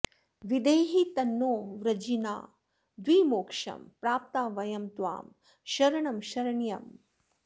विधेहि तन्नो वृजिनाद्विमोक्षं प्राप्ता वयं त्वां शरणं शरण्यम्